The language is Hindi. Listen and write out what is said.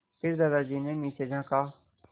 फिर दादाजी ने नीचे झाँका